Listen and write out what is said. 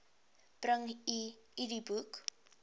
bring u idboek